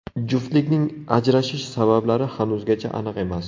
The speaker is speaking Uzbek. Juftlikning ajrashish sabablari hanuzgacha aniq emas.